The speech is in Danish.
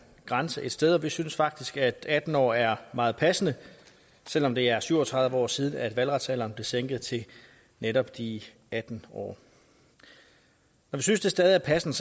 grænse et sted og vi synes faktisk at atten år er meget passende selv om det er syv og tredive år siden valgretsalderen blev sænket til netop de atten år når vi synes det stadig er passende